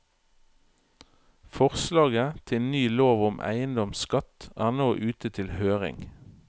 Forslaget til ny lov om eiendomsskatt er nå ute til høring.